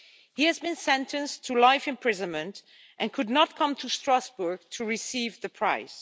He has been sentenced to life imprisonment and could not come to Strasbourg to receive the prize.